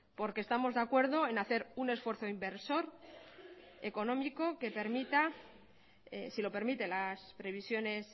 porque estamos de acuerdo en hacer un esfuerzo inversor económico si lo permiten las previsiones